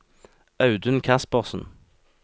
Audun Kaspersen